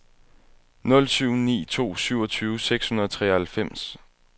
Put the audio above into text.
nul syv ni to syvogtyve seks hundrede og treoghalvfems